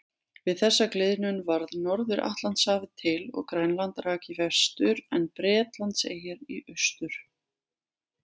Við þessa gliðnun varð Norður-Atlantshafið til og Grænland rak í vestur en Bretlandseyjar í austur.